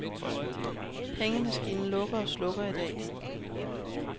Pengemaskinen lukker og slukker i dag.